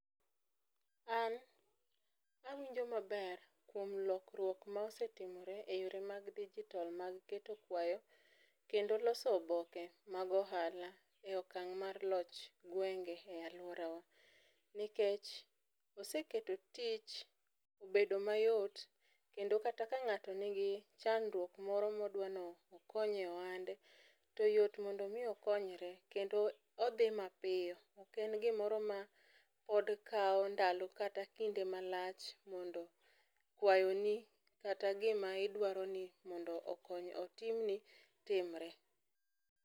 An awinjo maber kuom lokruok mosetimore e yore mag dijitol mag keto kwayo kendo loso oboke mag ohala e okang' mar loch gwenge e alworawa, nikech oseketo tich obedo mayot kendo kata ka ng'ato nigi chandruok moro modwa nokonye e ohande, to yot mondo omi okonyre kendo odhi mapiyo, ok en gimoro mapod kawo ndalo kata kinde malach mondo kwayoni kata gima idwaroni mondo otimni timre.